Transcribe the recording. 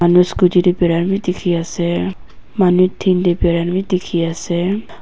Manu scotty tey barai beh dekhi ase manu tin tey baraina beh dekhe ase.